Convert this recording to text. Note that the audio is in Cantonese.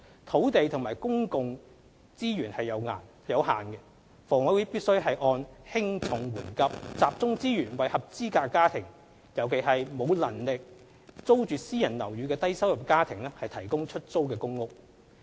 土地和公共資源有限，房委會必須按輕重緩急，集中資源為合資格家庭尤其是為沒有能力租住私人樓宇的低收入家庭提供出租公屋。